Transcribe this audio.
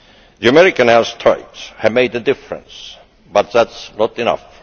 The American airstrikes have made a difference but it is not enough.